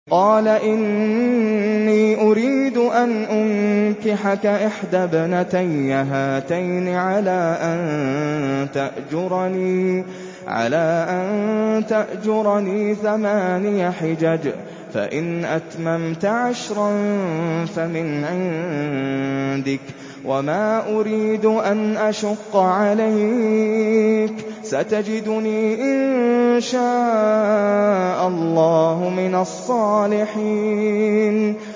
قَالَ إِنِّي أُرِيدُ أَنْ أُنكِحَكَ إِحْدَى ابْنَتَيَّ هَاتَيْنِ عَلَىٰ أَن تَأْجُرَنِي ثَمَانِيَ حِجَجٍ ۖ فَإِنْ أَتْمَمْتَ عَشْرًا فَمِنْ عِندِكَ ۖ وَمَا أُرِيدُ أَنْ أَشُقَّ عَلَيْكَ ۚ سَتَجِدُنِي إِن شَاءَ اللَّهُ مِنَ الصَّالِحِينَ